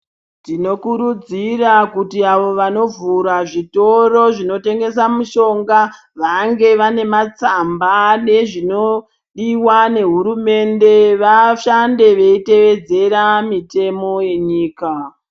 Tinokurudzira kuti ava vanovhura zvitoro zvinotongesa mushonga vange vanematsamba nezvinodiwa nehurumende vashande veitevedzera mitemo yenyika